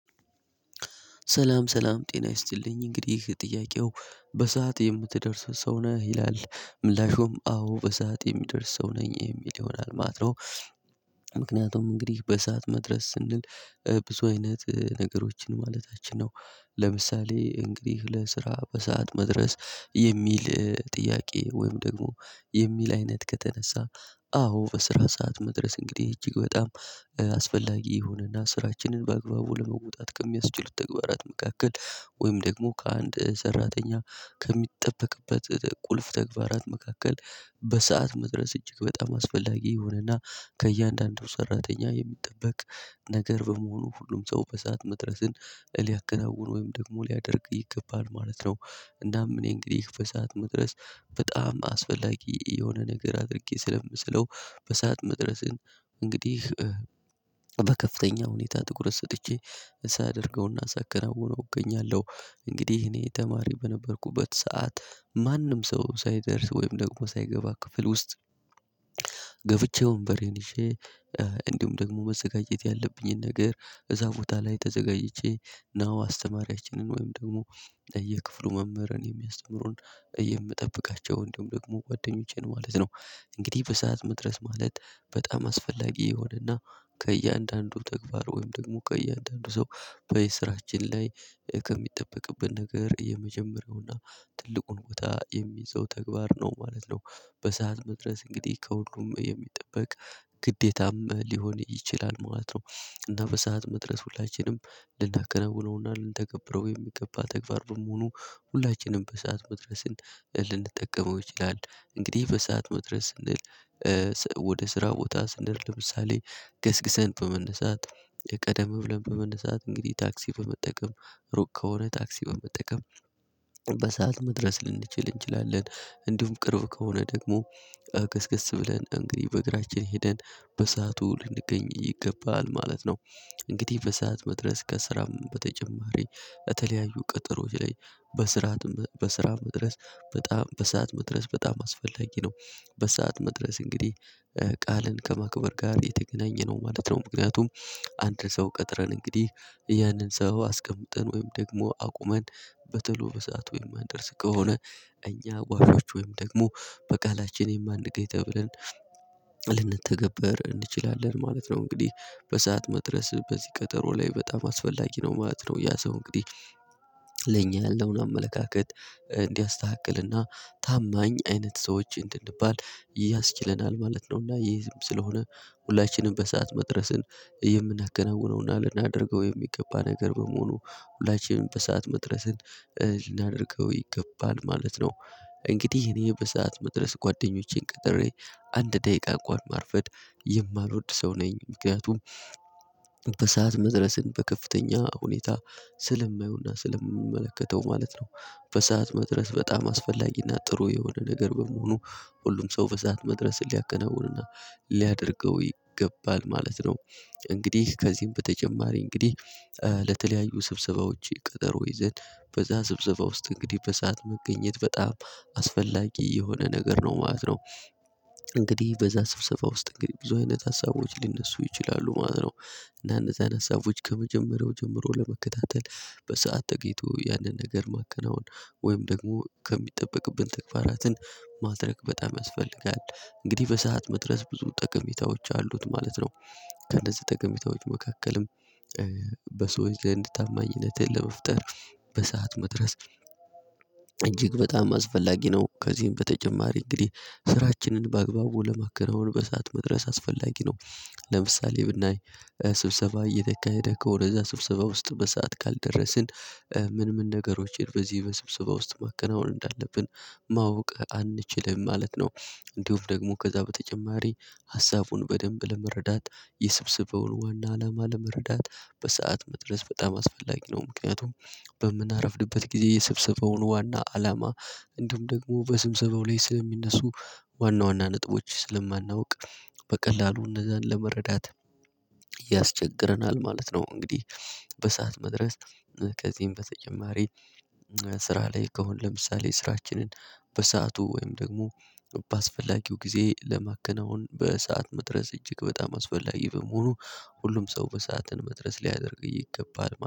ሰላም ሰላም ጤና ይስጥልኝ እንግዲህ ጥያቄው በሰአት የምትደርሰው ሰው ነህ ይላል? ምላሹም አዎ በሰአት የሚደርስ ሰው ነኝ የሚል ይሆናል ማለተ ነው። ምክንያቱም እንግዲህ በሰአት መድረስ ስንል ብዙ አይነት ነገሮችን ማለታችን ነው። ለምሳሌ እንግዲህ ለስራ በሰአት መድረስ የሚል ጥያቄ ወይም ደግሞ የሚል አይነት ከተነሳ አዎ በስራ ሰዓት መድረስ እንግዲህ እጅግ በጣም አስፈላጊ የሁንና ስራችንን በአግባቡ ለመውጣት ከሚያስችሉት ተግባራት መካከል ወይም ደግሞ ከአንድ ሰራተኛ ከሚጠበቅበት ቁልፍ ተግባራት መካከል በሰአት መድረስ እጅግ በጣም አስፈላጊ የሆነና ከእያንዳንዱ ሰራተኛ የሚጠበቅ ነገር በመሆኑ ሁሉም ሰው በሰአት መድረስን ሊያከነውን ወይም ደግሞ ሊያደርግ ይገባል ማለት ነው። እናም እንደውም እኔ እንግዲህ በሰአት መድረስ በጣም አስፈላጊ የሆነ ነገር አድርጌ ስለምስለው በሰአት መድረስን እንግዲህ በከፍተኛ ሁኔታ ትኩረት ሰጥቼ ሳ ደርገውና ሳከናውነው እገኛለሁ። እንግዲህ እኔ ተማሪ በነበርኩበት ሰዓት ማንም ሰው ሳይደርስ ወይም ደግሞ ሳይገባ ክፍል ውስጥ ገብቼ ወንበርን ይዤ እንዲሁም ደግሞ መዘጋጀት ያለብኝን ነገር እዛ ቦታ ላይ ተዘጋጅቼ ነው አስተማሪያችንን ወይም ደግሞ ለየክፍሉ መምህር የሚያስተምሩን የምጠብቃቸው እንደውም ደግሞ ጓደኞቼን ማለት ነው እንግዲህ በሰአት መድረስ ማለት በጣም አስፈላጊ የሆነና ከእያንዳንዱ ተግባር ወይም ደግሞ ከእያንዳንዱ ሰው በየስራችን ላይ ከሚጠበቅበብን ነገር የመጀመሪያውና ትልቁን ቦታ የሚይዘው ተግባር ነው ማለት ነው በሰአት መድረስ እንግዲህ ከሁሉም የሚጠበቅ ግዴታም ሊሆን ይችላል ማለት ነው። እና በሰአት መድረስ ሁላችንም ልናከናውነውና ልንተገብረው የሚገባ ተግባር በመሆኑ ሁላችንም በሰአት መድረስን ልንጠቀመው ይችላል እንግዲህ በሰአት መድረስ ስንል ወደ ስራ ቦታ ስንደርስ ለምሳሌ ገስግሰን በመነሳት ቀደም ብለን በመነሳት እንግዲህ ታክሲ በመጠቀም ሩቅ ከሆነ ታክሲ በመጠቀም በሰአት መድረስ ልንችል እንችላለን። እንዲሁም ቅርብ ከሆነ ደግሞ ገስገስ ብለን እንግዲህ በእግራችን ሄደን በሰአቱ ልንገኝ ይገባል ማለት ነው እንግዲህ በሰአት መድረስ ከስራም በተጨማሪ በተለያዩ ቅጥሮች ላይ በስራ መድረስ በጣም በሰአት መድረስ በጣም አስፈላጊ ነው በሰአት መድረስ እንግዲህ ቃልን ከመክበር ጋር የተገናኘነው ማለት ነው ምክንያቱም አንድ ሰው ቀጥረን እንግዲህ ያንን ሰው አስቀምጠን ወይም ደግሞ አቁመን በቶሎ በሰአቱ ወይም ማንድርስ ከሆነ እኛ ጓሾች ወይም ደግሞ በቃላችን የማንገይ ተብለን ልንተገበር እንችላለን ማለት ነው። እንግዲህ በሰአት መድረስ በዚህ ቀጠሮ ላይ በጣም አስፈላጊ ነው ማለት ነው ያ ሰው እንግዲህ ለኛ ያለውን አመለካከት እንዲያስተካክልና ታማኝ አይነት ሰዎች እንድንባል ያስችለናል ማለት ነው። ይህም ስለሆነ ሁላችንም በሰአት መድረስን የምናከናውነውና ልናደርገው የሚገባ ነገር በመሆኑ ሁላችንም በሰአት መድረስን ልናደርገው ይገባል ማለት ነው። እንግዲህ እኔ በሰአት መድረስ ጓደኞቼን ቀጥሬ አንድ ደቂቃ እንኳን ማርፈድ የማልወድ ሰው ነኝ ምክንያቱም በሰአት መድረስን በከፍተኛ ሁኔታ ስለማየውና፤ ስለምመለከተው ማለት ነው በሰአት መድረስ በጣም አስፈላጊና ጥሩ የሆነ ነገር በመሆኑ፤ ሁሉም ሰው በሰአት መድረስ ሊያከናውንና ሊያደርገው ይገባል ማለት ነው። እንግዲህ ከዚህም በተጨማሪ እንግዲህ ለተለያዩ ስብሰባዎች ቀጠሮ ይዘን በዛ ስብሰባ ውስጥ እንግዲህ በሰአት መገኘት በጣም አስፈላጊ የሆነ ነገር ነው ማለት ነው። እንግዲህ በዛ ስብሰባ ውስጥ እንግዲህ ብዙ አይነት ሀሳቦች ሊነሱ ይችላሉ ማለት ነው። እና እነዚህን ሀሳቦች ከመጀመሪያው ጀምሮ ለመከታተል በሰአት ተገኝቶ ያንን ነገር ማከናወን ወይም ደግሞ ከሚጠበቅብን ተግባራትን ማድረግ በጣም ያስፈልጋል። እንግዲህ በሰአት መድረስ ብዙ ጠቀሜታዎች አሉት ማለት ነው ከነዚህ ጠቀሜታዎች መካከልም በሰዎች ዘንድ ታማኝነትን ለመፍጠር በሰአት መድረስ እጅግ በጣም አስፈላጊ ነው። ከዚህም በተጨማሪ እንግዲህ ስራችንን በአግባቡ ለማከናወን በእሳት መድረስ አስፈላጊ ነው ለምሳሌ ብናይ ስብሰባ እየተካሄደከው ወደዛ ስብሰባ ውስጥ በሰአት ካልደረስን ምን ምን ነገሮችን በዚህ በስብሰባ ውስጥ ማከናወን እንዳለብን ማወቅ አንችልም ማለት ነው። እንዲሁም ደግሞ ከዛ በተጨማሪ ሀሳቡን በደንብ ለመረዳት የሰብስበውን ዋና አላማ ለመረዳት በሰአት መድረስ በጣም አስፈላጊ ነው ምክንያቱም። በምናረፍድበት ጊዜ የሰብሰበውን ዋና አላማ እንዲሁም ደግሞ በስብሰባው ላይ ስለሚነሱ ዋና ዋና ነጥቦች ስለማናውቅ በቀላሉ እነዛን ለመረዳት ያስቸግረናል ማለት ነው እንግዲህ። በሰአት መድረስ ከዚህም በተጨማሪ ስራ ላይ ከሆነ ለምሳሌ ስራችንን በሰአቱ ወይም ደግሞ በአስፈላጊው ጊዜ ለማከናወን በሰአት መድረስ እጅግ በጣም አስፈላጊ በመሆኑ ሁሉም ሰው በሰአትን መድረስ ሊያደርግ ይገባል።